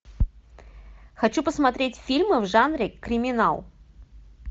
хочу посмотреть фильмы в жанре криминал